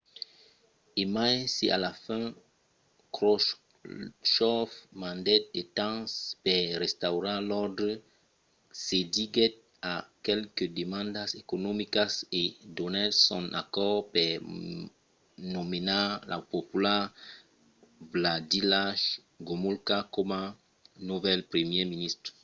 e mai se a la fin khroshchòv mandèt de tancs per restaurar l’òrdre cediguèt a qualques demandas economicas e donèt son acòrd per nomenar lo popular wladyslaw gomulka coma novèl primièr ministre